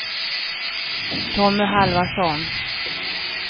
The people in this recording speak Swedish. Tommy Halvarsson